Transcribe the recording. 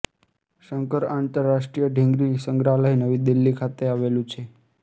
શંકર આંતરરાષ્ટ્રીય ઢીંગલી સંગ્રહાલય નવી દિલ્હી ખાતે આવેલું છે